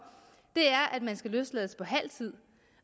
er at man skal løslades på halv tid